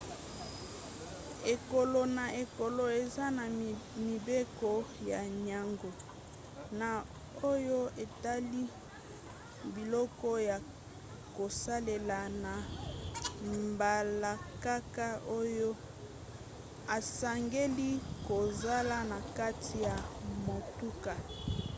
ekolo na ekolo eza na mibeko na yango na oyo etali biloko ya kosalela na mbalakaka oyo esengeli kozala na kati ya motuka